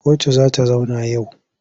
Kotu za ta zauna yau.